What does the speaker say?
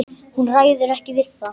Hún ræður ekki við það.